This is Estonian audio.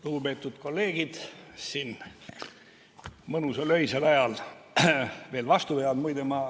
Lugupeetud kolleegid, kes te siin mõnusal öisel ajal veel vastu peate!